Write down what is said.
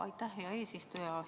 Aitäh, hea eesistuja!